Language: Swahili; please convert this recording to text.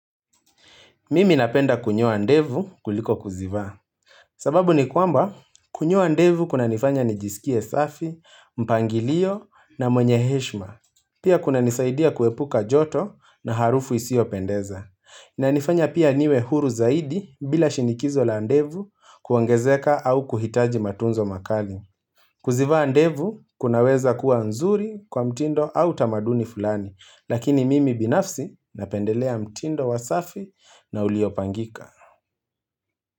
Mimi napenda kunyoa ndevu kuliko kuzivaa. Sababu ni kwamba kunyoa ndevu kuna nifanya nijisikie safi, mpangilio na mwenyeheshma. Pia kuna nisaidia kuepuka joto na harufu isiyo pendeza. Na inanifanya pia niwe huru zaidi bila shinikizo la ndevu kuongezeka au kuhitaji matunzo makali. Kuzivaa ndevu kunaweza kuwa nzuri kwa mtindo au tamaduni fulani. Lakini mimi binafsi napendelea mtindo wa safi na uliopangika.